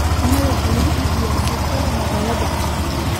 Yaanyada waxaa lagu iibiyaa suuqyada magaalooyinka.